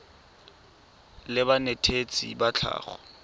la banetetshi ba tsa tlhago